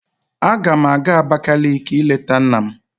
Agam aga Abakaliki ileta nna m.